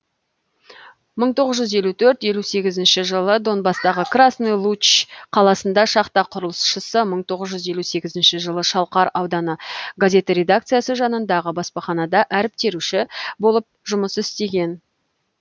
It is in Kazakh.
мың тоғыз жүз елу төрт елу сегізінші жылы донбастағы красный луч қаласында шахта құрылысшысы мың тоғыз жүз елу сегізінші жылы шалқар ауданы газеті редакциясы жанындағы баспаханада әріп теруші болып жұмыс істеген